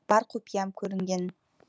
бар құпиям көрінген